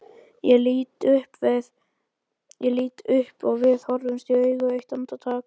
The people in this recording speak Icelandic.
Ég lít upp og við horfumst í augu eitt andartak.